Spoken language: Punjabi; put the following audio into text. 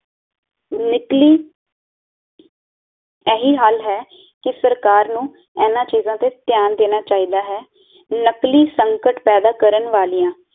ਨਿਕਲੀ ਏਹੀ ਹੱਲ ਹੈ ਕਿ ਸਰਕਾਰ ਨੂੰ ਇਹਨਾ ਚੀਜਾਂ ਤੇ ਤਿਆਨ ਦੇਣਾ ਚਾਹੀਦਾ ਹੈ ਨਕਲੀ ਸੰਕਟ ਪੈਦਾ ਕਰਨ ਵਾਲਿਆਂ